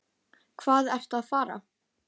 Hvað ertu að fara?